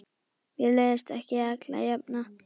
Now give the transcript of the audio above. Mér leiðist ekki alla jafna.